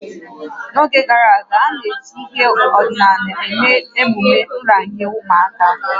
N'oge gara aga, a na-eji ihe ọdịnala eme emume nranye ụmụaka